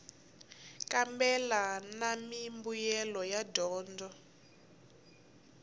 kambela na mimbuyelo ya dyondzo